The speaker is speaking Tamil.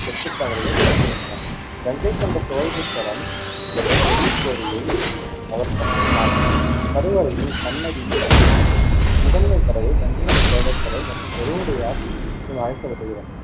செப்புத்தகடுகள் குரிப்பிடுகின்றன. கங்கைகொண்ட சோழேஸ்வரம் என்ற பெரிய கோவிலில் அவர் கட்டினார். கருவறையின் சன்னதி முதன்மை கடவுள் கங்கைகொண்ட சோழேஸ்வரர் மற்றும் பெருவுடையார் என்றும் அழைக்கப்படுகிறார்